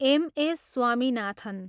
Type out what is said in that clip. Am. S. Swaminathan